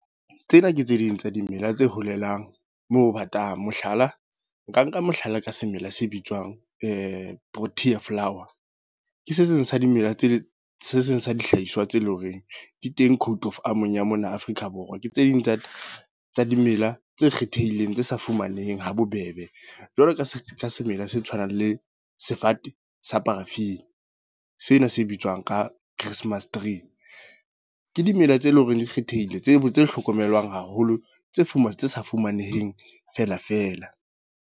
Tsena ke tse ding tsa dimela tse holelang moo batang. Mohlala nka nka mohlala ka semela se bitswang Protea flower. Ke se seng sa dimela tse, se seng sa dihlahiswa tse leng horeng di teng Code of Arm-ong ya mona Afrika Borwa. Ke tse ding tsa dimela tse kgethehileng tse sa fumaneheng ha bobebe jwaloka semela se tshwanang le sefate sa Paraffin. Sena se bitswang ka Christmas tree. Ke dimela tse leng hore di kgethehile tse tse hlokomelwang haholo. Tse fumane tse sa fumaneheng fela fela.